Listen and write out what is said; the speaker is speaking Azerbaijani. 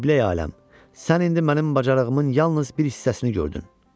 Qiblə aləm, sən indi mənim bacarığımın yalnız bir hissəsini gördün.